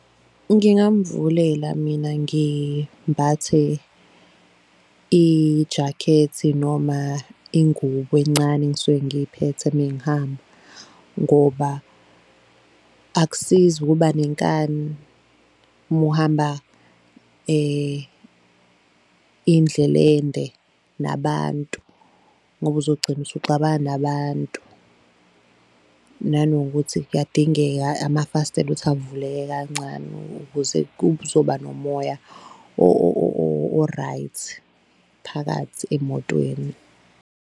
Ngingamvulela mina ngimbathe ijakhethi noma ingubo encane engisuke ngiyiphethe mengihamba, ngoba akusizi ukuba nenkani uma uhamba indlela ende nabantu, ngoba uzogcina usuxabana nabantu, nanokuthi kuyadingeka amafastela ukuthi avuleke kancane ukuze kuzoba nomoya o-right phakathi emotweni.